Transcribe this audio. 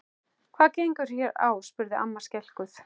Hvað gengur hér á? spurði amma skelkuð.